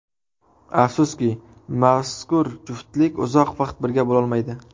Afsuski, mazkur juftlik uzoq vaqt birga bo‘lolmaydi.